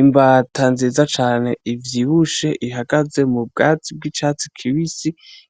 Imbata nziza cane ivyibushe ihagaze mu bwatsi bw'icatsi kibisi,